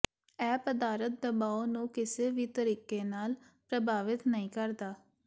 ਇਹ ਪਦਾਰਥ ਦਬਾਓ ਨੂੰ ਕਿਸੇ ਵੀ ਤਰੀਕੇ ਨਾਲ ਪ੍ਰਭਾਵਿਤ ਨਹੀਂ ਕਰਦਾ